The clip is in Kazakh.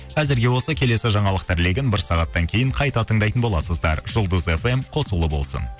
әзірге осы келесі жаңалықтар легін бір сағаттан кейін қайта тыңдайтын боласыздар жұлдыз фм қосулы болсын